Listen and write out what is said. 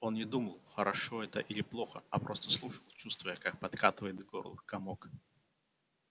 он не думал хорошо это или плохо а просто слушал чувствуя как подкатывает к горлу комок